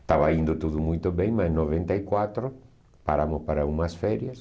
Estava indo tudo muito bem, mas em noventa e quatro paramos para umas férias.